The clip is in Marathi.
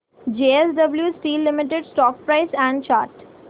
JSW steel limited stock price and chart